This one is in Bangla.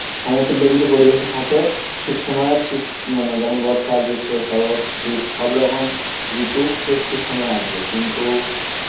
সমতুল্য যদি পরিবেশে থাকে, ঠিক সময় ঠিক যেমন বর্ষা গ্র্সিম সরত শীত সব রকম রিতু সে ঠিক সময় আসবে কিন্তু